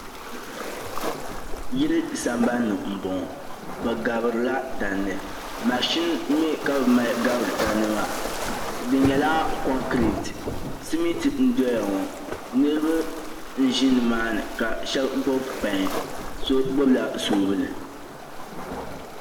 Yili sambani ni m bɔŋɔ bɛ gabiri la tandi machin mi ka mali gabiri tamdi maa di nyɛla kɔnkrɛt simitin n dɔya ŋɔ niriba n ʒe niima ni ka shɛba gbubi pɛn so gbubi la sɔbili.